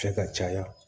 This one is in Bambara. Fɛ ka caya